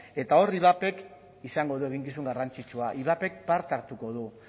eta hor ivapek izango du eginkizun garrantzitsua ivapek parte hartuko du